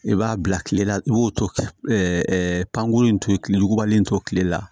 I b'a bila kile la i b'o to ɛ pankurun in to ye tile wugubalen in to kile la